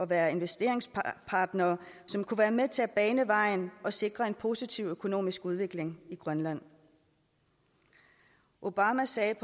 være investeringspartnere som kunne være med til at bane vejen og sikre en positiv økonomisk udvikling i grønland obama sagde